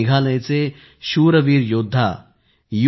मेघालयचे शूरवीर योद्धा यू